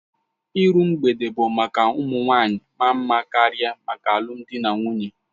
Iru mgbede bụ maka ụmụ nwanyị maa mma karịa maka alụmdi na nwunye